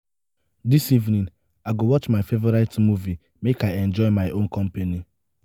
dis evening i go watch my favorite movie make i enjoy my own company